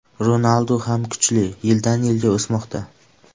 Ronaldu ham kuchli, yildan-yilga o‘smoqda.